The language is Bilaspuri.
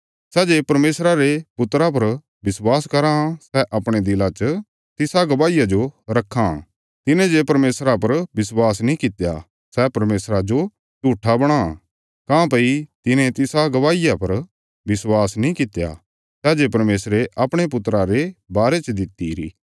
सै जे परमेशरा रे पुत्रा पर विश्वास कराँ सै अपणे दिला च तिसा गवाहिया जो रक्खां तिने जे परमेशरा पर विश्वास नीं कित्या सै परमेशरा जो झूट्ठा बणां काँह्भई तिने तिसा गवाहिया पर विश्वास नीं कित्या सै जे परमेशरे अपणे पुत्रा रे बारे च दितिरी